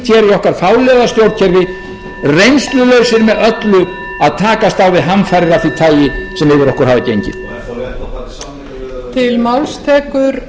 okkar fáliðaða stjórnkerfi reynslulausir með allri að takast á við hamfarir af því tagi sem yfir okkur hafa gengið